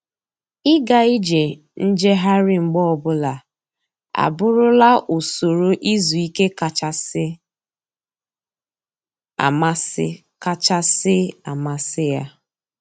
Ịga ije njegharị mgbe ọbụla abụrụla usoro izu ike kachasị amasị kachasị amasị ya.